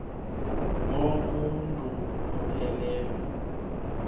bonk uuntu buphelele